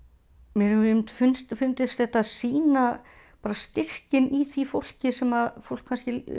mér hefur fundist fundist þetta sýna styrkinn í því fólki sem fólk